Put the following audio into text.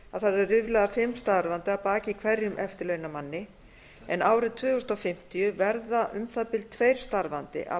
það eru ríflega fimm starfandi að baki hverjum eftirlaunamanni en árið tvö þúsund fimmtíu verða um það bil tveir starfandi að